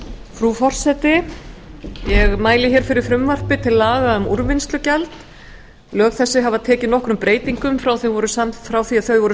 frú forseti ég mæli hér fyrir frumvarpi til laga um úrvinnslugjald lög þessi hafa tekið nokkrum breytingum frá því að þau voru